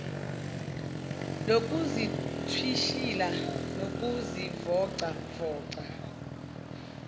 lokuzithwishila nokuzivoca voca